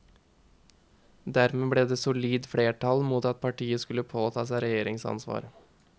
Og dermed ble det solid flertall mot at partiet skulle påta seg regjeringsansvar.